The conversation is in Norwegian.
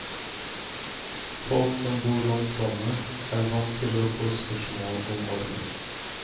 Folk som bor langs vannet, er vant til å få spørsmål om ormen.